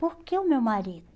Por que o meu marido?